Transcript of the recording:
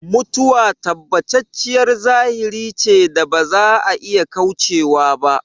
Mutuwa tabbatacciyar zahiri ce da ba za a iya kaucewa ba